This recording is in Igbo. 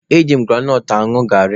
E ji m granọt añụ garị.